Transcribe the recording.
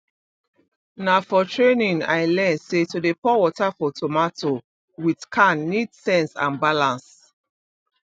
na for training i learn say to dey pour water for tomato with can need sense and balance